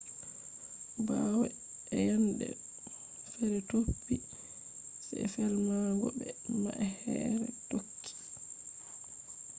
bawo eyende fere topi se felmango be ma’ehre tokki